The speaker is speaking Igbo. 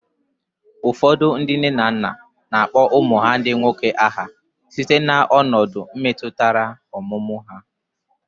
Ụfọdụ ndị nne na nna na-akpọ ụmụ ha ndị ikom aha site na ọnọdụ ndị metụtara ọmụmụ ha.